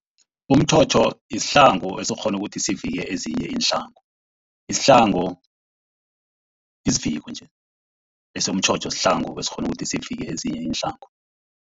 Umtjhotjho sihlangu esikghona ukuthi sivike ezinye iinhlangu. Isihlangu siviko nje. Bese umtjhotjho sihlangu esikghona ukuthi sivike ezinye iinhlangu.